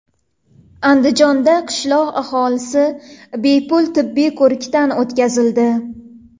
Andijonda qishloq aholisi bepul tibbiy ko‘rikdan o‘tkazildi.